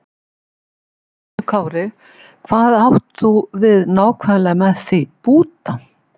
Höskuldur Kári: Hvað átt þú við nákvæmlega með því, búta?